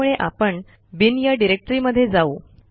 त्यामुळे आपण बिन या डिरेक्टरीमध्ये जाऊ